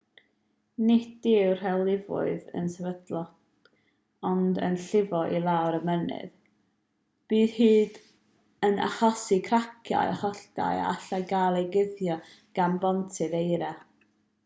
nid yw'r rhewlifoedd yn sefydlog ond yn llifo i lawr y mynydd bydd hyn yn achosi craciau holltau a allai gael eu cuddio gan bontydd eira